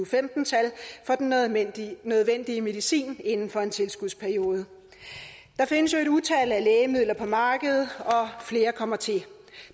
femten tal for den nødvendige nødvendige medicin inden for en tilskudsperiode der findes jo et utal af lægemidler på markedet og flere kommer til